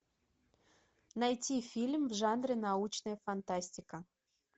найти фильм в жанре научная фантастика